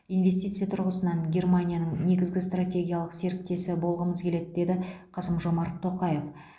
инвестиция тұрғысынан германияның негізгі стратегиялық серіктесі болғымыз келеді деді қасым жомарт тоқаев